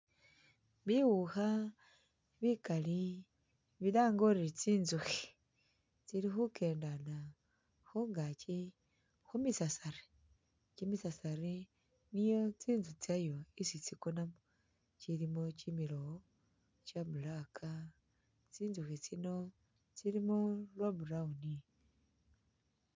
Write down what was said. Biwukha bikali bilange uri tsinzukhi tsili khukendela khungaaki khu misasari. Kimisasari niyo tsinzu tsyayo isi tsikonamu. Kilimu kimilowo kya black, tsinzukhi tsino tsilimo bwa brown.